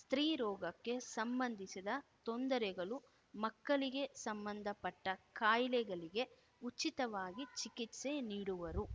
ಸ್ತ್ರೀ ರೋಗಕ್ಕೆ ಸಂಬಂಧಿಸಿದ ತೊಂದರೆಗಳು ಮಕ್ಕಳಿಗೆ ಸಂಬಂಧಪಟ್ಟಖಾಯಿಲೆಗಳಿಗೆ ಉಚಿತವಾಗಿ ಚಿಕಿತ್ಸೆ ನೀಡುವರು